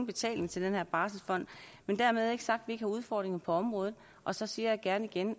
betale til den barselsfond men dermed er ikke sagt at ikke har udfordringer på området og så siger jeg igen